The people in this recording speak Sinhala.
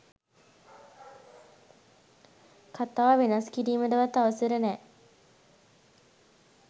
කතාව වෙනස් කිරීමටවත් අවසර නෑ